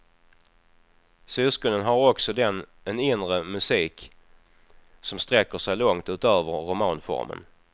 Syskonen har också den en inre musik som sträcker sig långt utöver romanformen.